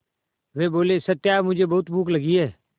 वे बोले सत्या मुझे बहुत भूख लगी है